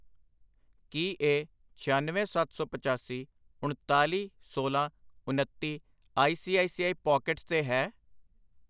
ਕੀ ਇਹ ਛਿਆਨਵੇਂ, ਸੱਤ ਸੌ ਪਚਾਸੀ, ਉਣਤਾਲੀ, ਸੋਲਾਂ, ਉਨੱਤੀ I C I C I Pockets ਤੇ ਹੈ ?